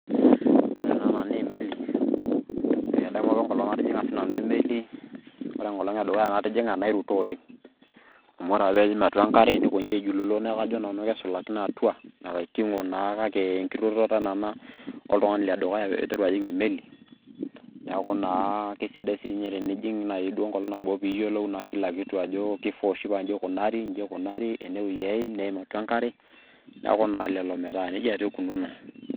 ore ena naa emeli, etii apa enkolong natijing'a sii nanu emeli. ore enkolong' edukuya natijing'a nairuto oleng'.amu ore pee eim atua enkare nikoji aijululo. neeku kajo nanu kesulakino atua. nakitingo naa kake enkirutoto naa ina oltungani le dukuya pee iteru ajing' emeli. neeku naa kisidai naaji tenijing, enkolong' nabo. pee iyiolou ajo kifaa oshi pee ijing kila kitu ajo iji ikunari.